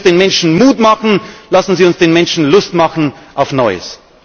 Lassen Sie uns den Menschen Mut machen, lassen Sie uns den Menschen Lust machen auf Neues!